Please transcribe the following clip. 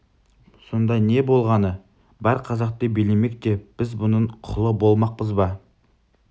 сонда не болғаны бар қазақты билемек те біз бұның құлы болмақпыз ба